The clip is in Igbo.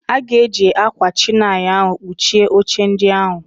Aga eji ákwà chinail ahụ kpuchie oche ndị ahụ.